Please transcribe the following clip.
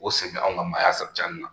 O sen bɛ anw ka maaya san cɛnni na